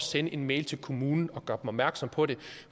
sende en mail til kommunen og gøre opmærksom på det